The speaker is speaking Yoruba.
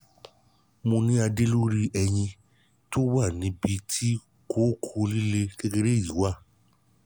mo ní adé lórí eyín tó wà lábẹ́ ibi tí kókó líle kékeré yìí wà